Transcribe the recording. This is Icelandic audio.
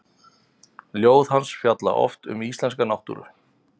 Ljóð hans fjalla oft um íslenska náttúru.